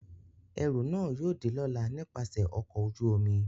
Ẹru náa yóò de lọla nipasẹ ọkọ oju-omi.